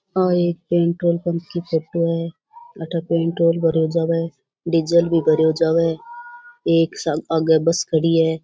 और ये petrol pump की फोटो है आठे पेट्रोल भरो जाव डीजल भी भरे जाबे एक आगे बस खड़ी है।